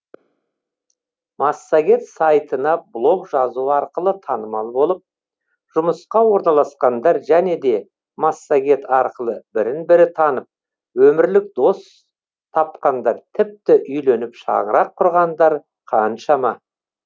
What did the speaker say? массагет сайтына блог жазу арқылы танымал болып жұмысқа орналасқандар және де массагет арқылы бірін бірі танып өмірлік дос тапқандар тіпті үйленіп шаңырақ құрғандар қаншама